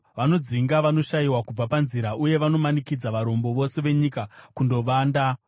Vanodzinga vanoshayiwa kubva panzira, uye vanomanikidza varombo vose venyika kundovanda.